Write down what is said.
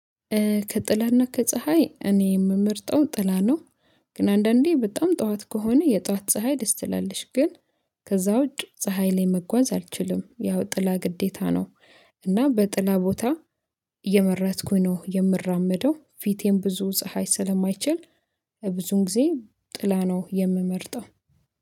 ከጥላና ከፀሀይ እኔ የምመርጠው ጥላ ነው። ግን አንዳንዴ በጣም ጠዋት ከሆነ የጠዋት ፀሀይ ደስ ትላለች ግን ከዛ ውጪ ፀሀይ ላይ መጓዝ አልችልም ያው ጥላ ግዴታ ነው። እና በጥላ ቦታ እየመረጥኩኝ ነው የምራመደው ፊቴም ብዙ ፀሀይ ስለማይችል ብዙን ጊዜ ጥላ ነው የምመርጠው